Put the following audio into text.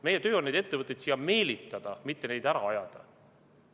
Meie töö on neid ettevõtteid siia meelitada, mitte neid ära ajada.